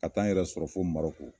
Ka taa n yɛrɛ sɔrɔ fo Marɔku.